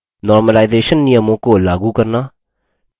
normalization सामान्यकरण नियमों को लागू करना